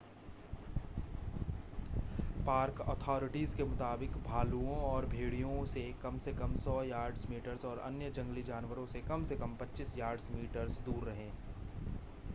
park authorities के मुताबिक भालुओं और भेड़ियों से कम से कम 100 यार्ड्स/मीटर्स और अन्य जंगली जानवरों से कम से कम 25 यार्डर्स/मीटर्स दूर रहें